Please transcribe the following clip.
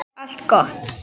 Allt gott.